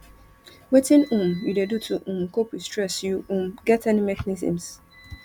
wetin um you dey do to um cope with stress you um get any mechanisms